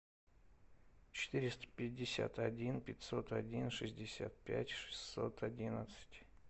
четыреста пятьдесят один пятьсот один шестьдесят пять шестьсот одиннадцать